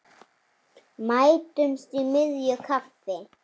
Mætumst í miðju kafi.